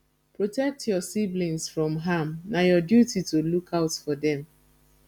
protect your siblings from harm na your duty to look out for dem